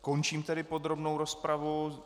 Končím tedy podrobnou rozpravu.